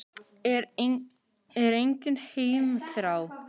Er engin heimþrá?